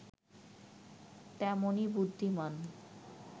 তেমনই বুদ্ধিমান্